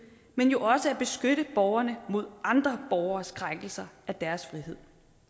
men også at beskytte borgerne mod andre borgeres krænkelser af deres frihed